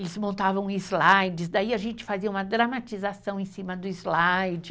Eles montavam slides, daí a gente fazia uma dramatização em cima do slide.